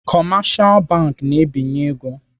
Kọmashal bank na-ebinye ego.